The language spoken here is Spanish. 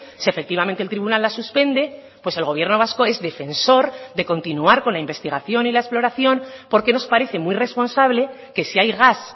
si efectivamente el tribunal la suspende pues el gobierno vasco es defensor de continuar con la investigación y la exploración porque nos parece muy responsable que si hay gas